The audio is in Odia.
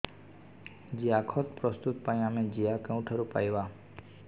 ଜିଆଖତ ପ୍ରସ୍ତୁତ ପାଇଁ ଆମେ ଜିଆ କେଉଁଠାରୁ ପାଈବା